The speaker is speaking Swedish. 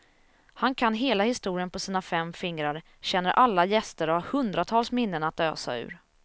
Han kan hela historien på sina fem fingrar, känner alla gäster och har hundratals minnen att ösa ur.